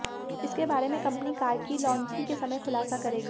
इसके बारें में कंपनी कार की लॉन्चिंग के समय खुलासा करेगी